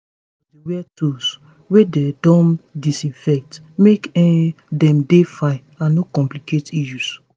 adults supposedey wear tools wey dem disinfect make um dem dey fine and no complicate issues